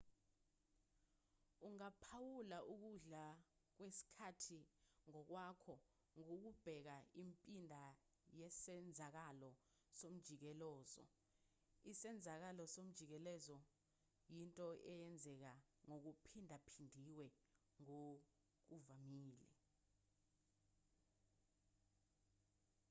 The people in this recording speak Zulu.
ungaphawula ukudlula kwesikhathi ngokwakho ngokubheka impinda yesenzakalo somjikelozo isenzakalo somjikelezo yinto eyenzeka ngokuphindaphindiwe ngokuvamile